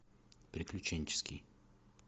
приключенческий